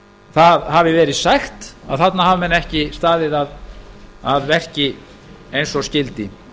það hafi verið sagt að þarna hafa menn ekki staðið að verki eins og skyldi